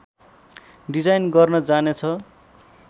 design गर्न जाने छ